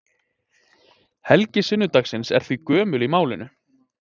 Helgi sunnudagsins er því gömul í málinu.